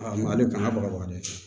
A ma ale kɔnya baga baga dɛ